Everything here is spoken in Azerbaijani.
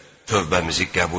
Tövbəmizi qəbul et.